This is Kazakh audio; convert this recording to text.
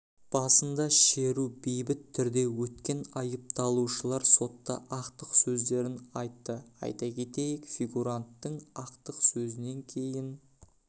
басында шеру бейбіт түрде өткен айыпталушылар сотта ақтық сөздерін айтты айта кетейік фигуранттың ақтық сөзінен кейін